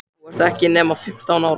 Þú ert ekki nema fimmtán ára.